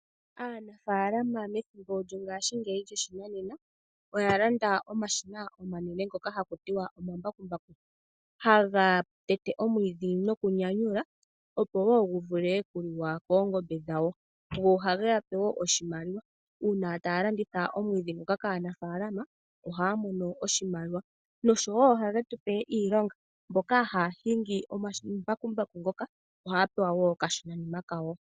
Aanafalama methimbo lyongashingeyi lyoshinanena. Oya landa omashina omanene ngoka hakutiwa omambakumbaku. Ha ga tete omwiidhi nokunyanyula opo wo guvule okuliwa koongombe dhawo, go oha ge yape oshimaliwa uuna taya landitha omwiidhi ngoka kaanafaalama ohaya mono oshimaliwa. Noshowo oha ge tupe iilonga mboka haya hingi omambakumbaku ngoka okashonanima kawo.